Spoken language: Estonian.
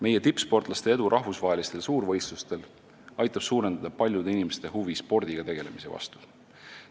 Meie tippsportlaste edu rahvusvahelistel suurvõistlustel aitab suurendada paljude inimeste huvi spordiga tegelemise vastu.